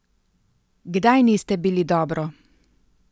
Kdaj niste bili dobro?